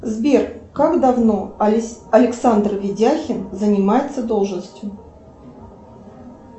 сбер как давно александр видяхин занимается должностью